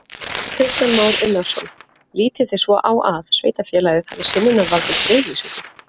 Kristján Már Unnarsson: Lítið þið svo á að sveitarfélagið hafi synjunarvald um friðlýsingu?